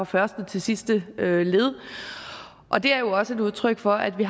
første til sidste led og det er jo også et udtryk for at vi